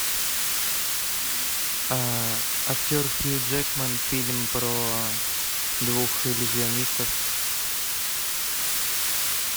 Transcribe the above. актер хью джекман фильм про двух иллюзионистов